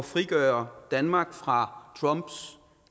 frigøre danmark fra trumps